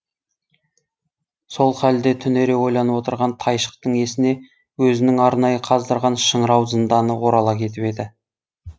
сол халде түнере ойланып отырған тайшықтың есіне өзінің арнайы қаздырған шыңырау зынданы орала кетіп еді